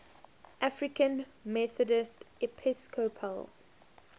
african methodist episcopal